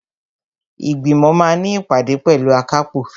Ìgbìmọ̀ máa ní ìpàdé pẹ̀lú akápò.